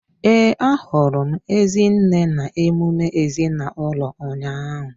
Ee, ahụrụ m Ezinne na emume ezinaụlọ ụnyahụ.